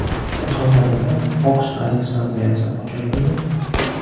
Surxondaryoda Oks Aleksandriyasi ochildimi?